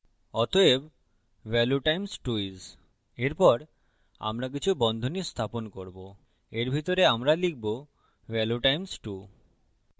অতএব value times 2 is এরপর আমরা কিছু বন্ধনী স্থাপন করবো এর ভিতরে আমরা লিখবো value times 2